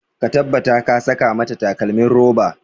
Ka tabbata ka saka mata takalmin roba!